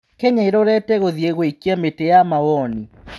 Kenya ĩrorete gũthiĩ gũikĩa mĩtĩ ya mawoni?